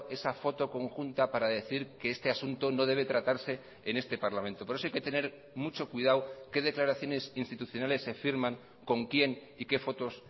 esa foto conjunta para decir que este asunto no debe tratarse en este parlamento por eso hay que tener mucho cuidado qué declaraciones institucionales se firman con quién y qué fotos